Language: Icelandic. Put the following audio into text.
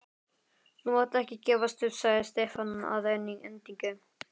Þú mátt ekki gefast upp sagði Stefán að endingu.